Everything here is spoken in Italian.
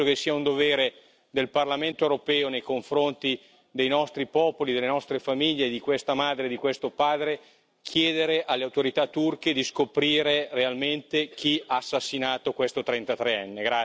Penso che sia un dovere del Parlamento europeo nei confronti dei nostri popoli, delle nostre famiglie, di questa madre e di questo padre chiedere alle autorità turche di scoprire realmente chi ha assassinato questo trentatreenne.